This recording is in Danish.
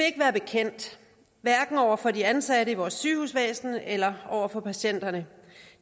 ikke være bekendt hverken over for de ansatte i vores sygehusvæsen eller over for patienterne